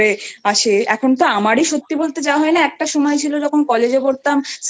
আসে এখন তো আমারি সত্যি বলতে যাওয়া হয় না একটা সময় ছিল যখন Collegeএ পড়তাম